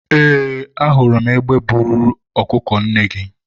eeee, a hụrụ m egbe buru ọkụkọ nne gị